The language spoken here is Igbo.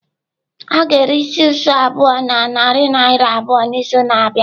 A ga-ere isi isi ukwu abụọ na narị naira abụọ n'izu na-abịa.